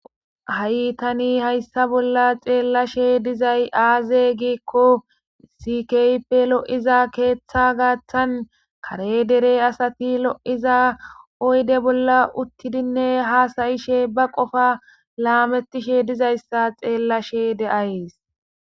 Hahi tani haysa bola xelashe dizay azze gikko haysi kehippe loyiza keetha gathan kare dereppe hizza oydde bola utidi baqoffa hasayishe dizayssa xelashe de'yis.